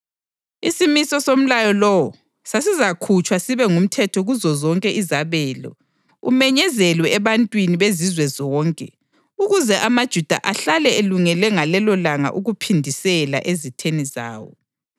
Isimiso somlayo lowo sasizakhutshwa sibe ngumthetho kuzozonke izabelo, umenyezelwe ebantwini bezizwe zonke ukuze amaJuda ahlale elungele ngalelolanga ukuphindisela ezitheni zawo.